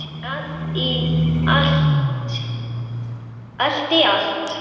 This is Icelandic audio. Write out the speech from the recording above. Allt í allt.